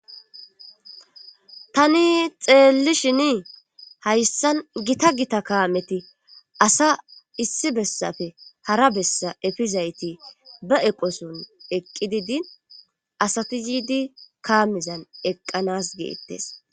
tani xeellishini hayssan gita gita kaameti asa issi bessafe hara bessa efizayti ba eqoson eqqi didi asati yiidi kaamizan eqqanas geettes